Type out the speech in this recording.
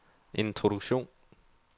introduktion